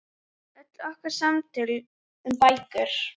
Öll okkar samtöl um bækur.